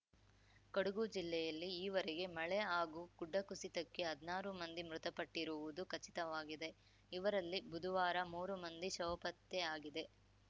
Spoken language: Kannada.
ಕೊಡಗು ಜಿಲ್ಲೆಯಲ್ಲಿ ಈವರೆಗೆ ಮಳೆ ಹಾಗೂ ಗುಡ್ಡಕುಸಿತಕ್ಕೆ ಹದ್ನಾರು ಮಂದಿ ಮೃತಪಟ್ಟಿರುವುದು ಖಚಿತವಾಗಿದೆ ಇವರಲ್ಲಿ ಬುದುವಾರ ಮೂರು ಮಂದಿ ಶವಪತ್ತೆಯಾಗಿದೆ